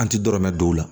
An ti dɔrɔmɛ don o la